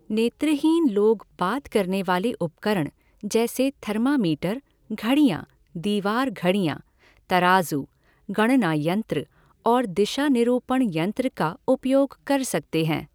नेत्रहीन लोग बात करने वाले उपकरण जैसे थर्मामीटर, घड़ियाँ, दीवार घड़ियाँ, तराजू, गणना यंत्र और दिशा निरूपण यंत्र का उपयोग कर सकते हैं।